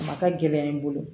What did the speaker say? A ma taa gɛlɛya ye n bolo